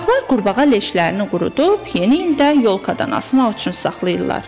Uşaqlar qurbağa leşlərini qurudub yeni ildə yolkadan asmaq üçün saxlayırlar.